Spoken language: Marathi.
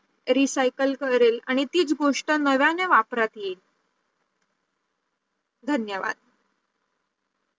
Recycle करेल आणि तीच गोष्ट नव्याने वापरात येईल धन्यवाद